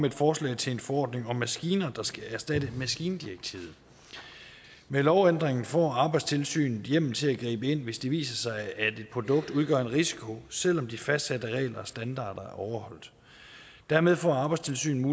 et forslag til en forordning om maskiner der skal erstatte maskindirektivet med lovændringen får arbejdstilsynet hjemmel til at gribe ind hvis det viser sig at et produkt udgør en risiko selv om de fastsatte regler og standarder er overholdt dermed får arbejdstilsynet